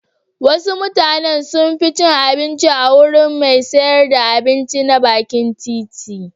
Wasu mutanen sun fi cin abinci a wurin mai sayar da abinci na bakin titi.